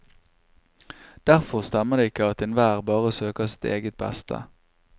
Derfor stemmer det ikke at enhver bare søker sitt eget beste.